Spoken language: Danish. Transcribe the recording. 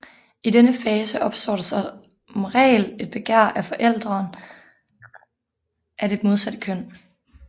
I denne fase opstår der som regel et begær efter forælderen af det modsatte køn